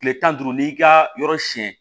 Kile tan ni duuru n'i ka yɔrɔ siyɛn